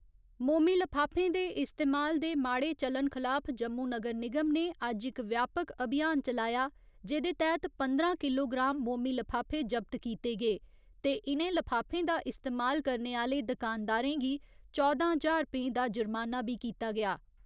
मोमी लफाफें दे इस्तमाल दे माड़े चलन खलाफ जम्मू नगर निगम ने अज्ज इक व्यापक अभियान चलाया जेह्दे तैह्त पंदरां किलोग्राम मोमी लफाफे जब्त कीते गे ते इ'नें लफाफें दा इस्तेमाल करने आह्‌ले दकानदारें गी चौदां ज्हार रपें दा जुर्माना बी कीता गेआ।